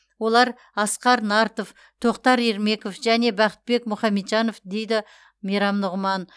олар асқар нартов тоқтар ермеков және бақытбек мұхамеджанов дейді мейрам нұғыман